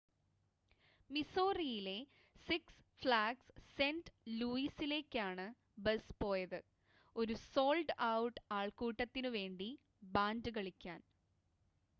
മിസോറിയിലെ Six Flags Saint ലൂയിസിലേക്കാണ് bus പോയത് ഒരു സോൾഡ് ഔട്ട് ആൾക്കൂട്ടത്തിനുവേണ്ടി ബാൻഡ് കളിക്കാൻ